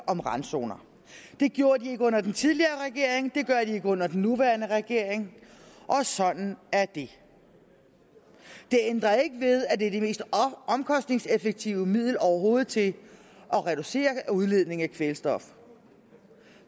om randzoner det gjorde de ikke under den tidligere regering det gør de ikke under den nuværende regering og sådan er det det ændrer ikke ved at det er det mest omkostningseffektive middel overhovedet til at reducere udledning af kvælstof